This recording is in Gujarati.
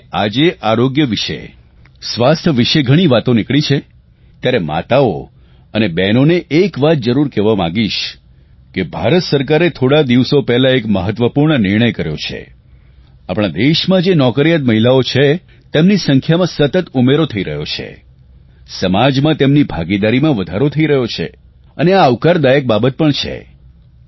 કારણ કે આજે આરોગ્ય વિશે સ્વાસ્થ્ય વિશે ઘણી વાતો નીકળી છે ત્યારે માતાઓ અને બહેનોને એક વાત જરૂર કહેવા માંગીશ કે ભારત સરકારે થોડા દિવસો પહેલા એક મહત્વપૂર્ણ નિર્ણય કર્યો છે આપણા દેશમાં જે નોકરિયાત મહિલાઓ છે તેમની સંખ્યામાં સતત ઉમેરો થઇ રહ્યો છે સમાજમાં તેમની ભાગીદારીમાં વધારો થઇ રહ્યો છે અને આ આવકારદાયક બાબત પણ છે